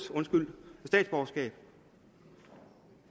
statsborgerskab